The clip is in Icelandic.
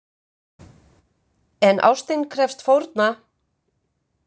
En ástin krefst fórna!